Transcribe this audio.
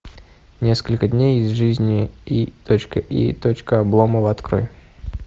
несколько дней из жизни и точка и точка обломова открой